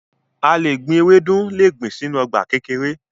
A le gbin ewedu le gbin sinu ọgba kekere